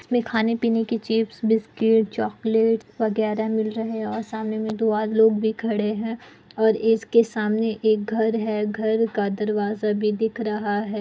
इस में खाने पीने कि चिप्स बिस्कुट चोलक्लेट वग्रेरा मिल रहे है और सामने मे में लोग भी खड़े है और इसके सामने एक घर है घर का दरवाज़ा भी दिख रहा हैं ।